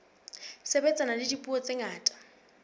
sebetsana le dipuo tse ngata